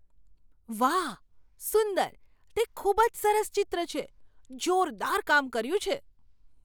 વાહ! સુંદર તે ખૂબ જ સરસ ચિત્ર છે! જોરદાર કામ કર્યું છે.